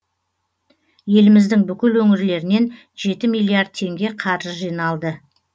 еліміздің бүкіл өңірлерінен жеті миллиард теңге қаржы жиналды